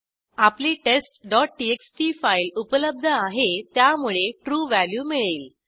आपली testटीएक्सटी फाईल उपलब्ध आहे त्यामुळे ट्रू व्हॅल्यू मिळेल